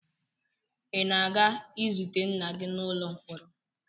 Ị na-aga izute nna gị n'ụlọ mkpọrọ?